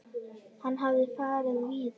Hann hafði farið víða.